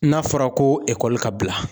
N'a fɔra ko ka bila.